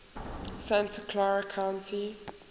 santa clara county